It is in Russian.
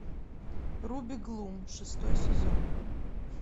руби глум шестой сезон